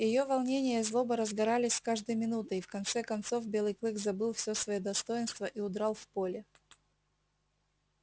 её волнение и злоба разгорались с каждой минутой и в конце концов белый клык забыл всё своё достоинство и удрал в поле